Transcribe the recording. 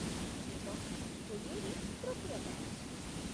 ଏବଂ, କୋଡ଼ିଏ ରେ ତୃତୀୟ ବ୍ୟାଚ୍।